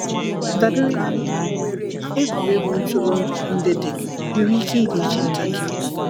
Dabere na mba ị bi, egwuregwu ntụrụndụ ndị dị, nwere ike ịdị iche ntakịrị.